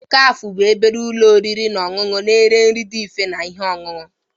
Cafe bụ obere ụlọ oriri na ọṅụṅụ na-ere nri dị mfe na ihe ọṅụṅụ.